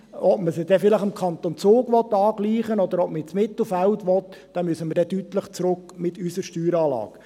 Ob man sie dann dem Kanton Zug angleichen will, oder ob man ins Mittelfeld will, da müssen wir dann deutlich zurück mit unserer Steueranlage.